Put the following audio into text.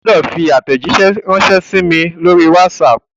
O gbọ́dọ̀ fi àtẹ̀jíṣé ránsẹ́ sí mi lórí WhatsApp!